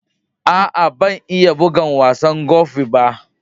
Aa, ban iya bugan wasan Gofi ba.